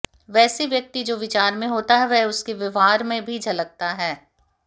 वैसे व्यक्ति जो विचार में होता है वह उसके व्यवहार में भी झलकता है